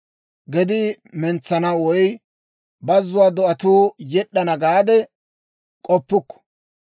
Gedii mentsana woy, ‹Bazzuwaa do'atuu yed'd'ana› gaade k'oppukku.